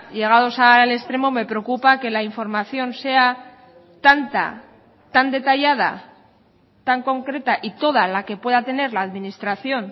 llegados al extremo me preocupa que la información sea tanta tan detallada tan concreta y toda la que pueda tener la administración